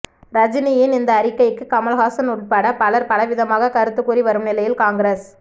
ரஜினியின் இந்த அறிக்கைக்கு கமல்ஹாசன் உள்பட பலர் பலவிதமாக கருத்து கூறி வரும் நிலையில் காங்கிரஸ்